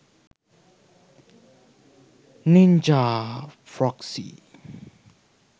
ninja proxy